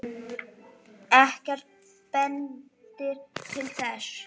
Ekkert bendir til þess.